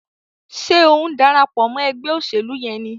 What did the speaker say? Ṣe o ń darapọ̀ mọ ègbé òṣèlú yén ní?